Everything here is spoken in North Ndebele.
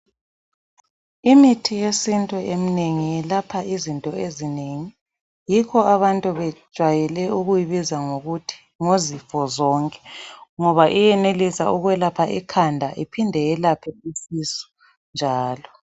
Imithi yesintu eminengi iyelapha izinto ezinengi yikho abantu bejwayele ukuyibiza ngokuthi ngozifo zonke. Ngoba iyenelisa ukwelapha ikhanda iphinde iyelaphe isisu njalo.